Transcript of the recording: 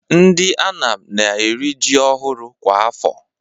Ndị Anam na-eri ji ọhụrụ kwa afọ.